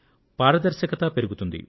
పారదర్శకత పెరుగుతుంది